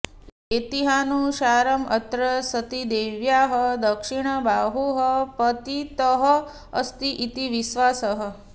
ऐतिह्यानुसारम् अत्र सतीदेव्याः दक्षिणबाहुः पतितः अस्ति इति विश्वासः